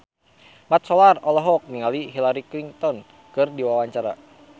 Mat Solar olohok ningali Hillary Clinton keur diwawancara